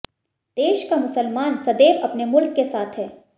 देश का मुसलमान सदैव अपने मुल्क के साथ है